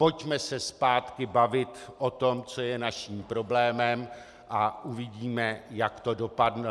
Pojďme se zpátky bavit o tom, co je naším problémem, a uvidíme, jak to dopadne.